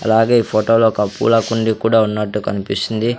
అలాగే ఈ ఫొటోలో ఒక పూల కుండీ కూడా ఉన్నట్టు కన్పిస్తుంది.